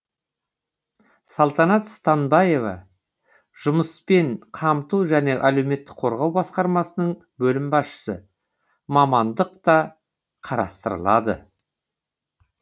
салтанат станбаева жұмыспен қамту және әлеуметтік қорғау басқармасының бөлім басшысы мамандық та қарастырылады